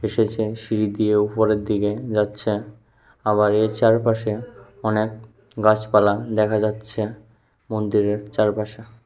উঠেছে সিঁড়ি দিয়ে উপরের দিকে যাচ্ছে আবার এর চারপাশে অনেক গাছপালা দেখা যাচ্ছে মন্দিরের চারপাশে।